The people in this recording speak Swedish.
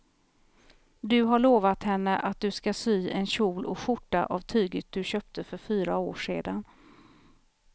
Du har lovat henne att du ska sy en kjol och skjorta av tyget du köpte för fyra år sedan.